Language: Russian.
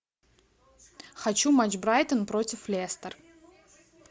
хочу матч брайтон против лестер